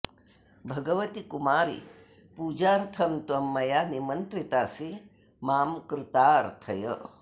भगवति कुमारि पूजार्थं त्वं मया निमन्त्रितासि मां कृतार्थय